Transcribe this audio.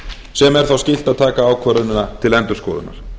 sem er þó skylt að taka ákvörðunina til endurskoðunar